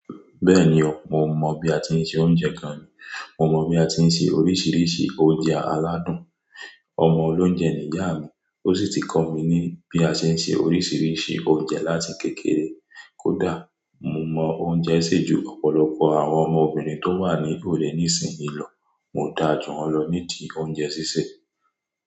Bẹ́ẹ̀ni o, mo mọ̀ bí a ti ń se oúnjẹ gan ni. Mo mọ̀ bí a ti ń se oríṣiríṣi oúnjẹ aládùn. Ọmọ olóúnjẹ ni ìyá mi ó sì ti kọ́ mi ní bí a ṣe ń se oríṣiríṣi oúnjẹ láti kékeré. Kódà, mo mọ oúnjẹ sè ju ọ̀pọ̀lọpọ̀ àwọn ọmọbìnrin tó wà ní ìlú rẹ nísìnyí lọ. Mo dá jù wọn lọ ní ìdí oúnjẹ sì sè.